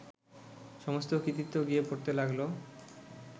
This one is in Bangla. সমস্ত কৃতিত্ব গিয়ে পড়তে লাগলো